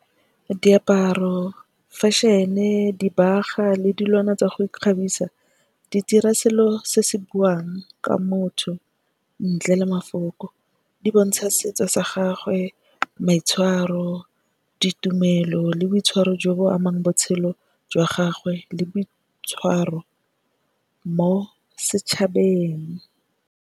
Diaparo, fashion-e, dibagwa le dilwana tsa go ikgabisa, di dira selo se se buang ka motho ntle le mafoko. Di bontsha setso sa gagwe, maitshwaro, ditumelo le boitshwaro jo bo amang botshelo jwa gagwe le boitshwaro mo setšhabeng.